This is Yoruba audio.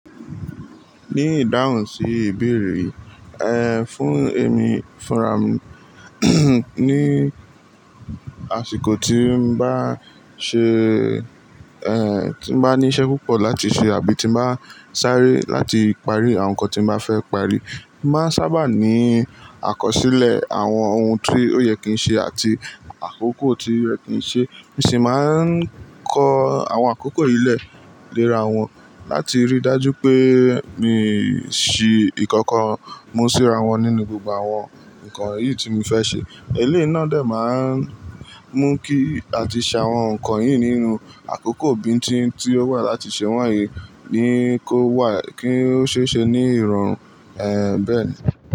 Ní ìdáhùn sí ìbéèrè, ẹ, fún èmi fúnra mi ní àsìkò tí n bá ṣe, ẹ, tí n bá ní iṣẹ́ púpọ̀ láti ṣe àbí tí n bá sáré láti parí àwọn nǹkan tí n bá fẹ́ parí, máa ń sábà ní àkọsílẹ̀ àwọn ohun tí ó yẹ kí n ṣe àti àkókò tí ó yẹ kí n ṣe. Mi sì máa ń kọ àwọn àkókò yìí lẹ̀ léra wọn láti rí dájú pé mi ṣì ìkankan mú síra wọn nínú gbogbo àwọn nǹkan yìí tí mo fẹ́ ṣe. Eléyìí náà dè máa ń mú kí àti ṣàwọn nǹkan yìí nínú àkókò bí n tín tí ó wà láti ṣe wọ̀nyí ní kó wà kí ó ṣe ṣe ní ìrọ̀rùn, ẹ, bẹ́ẹ̀